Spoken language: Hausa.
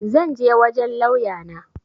zan je wajen lauya na